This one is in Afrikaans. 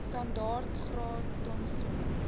standaard graad thompson